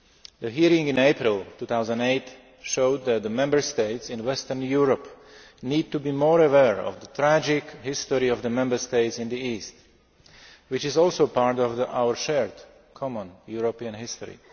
The hearing of 8 April 2008 showed that the Member States in Western Europe need to be more aware of the tragic history of the Member States in the East, which is also part of our shared, common, European history.